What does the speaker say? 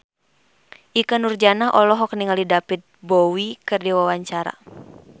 Ikke Nurjanah olohok ningali David Bowie keur diwawancara